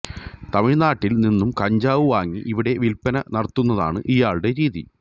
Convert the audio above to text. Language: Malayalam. തമിഴ്നാട്ടില് നിന്നും കഞ്ചാവ് വാങ്ങി ഇവിടെ വില്പ്പന നടത്തുന്നതാണ് ഇയാളുടെ രീതി